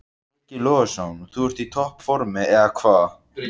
Breki Logason: Og þú ert í topp formi, eða hvað?